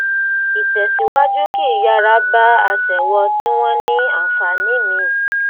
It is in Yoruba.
ìtẹsíwájú kì í yára bá aṣèwọ tí wọn ní ànfààní míì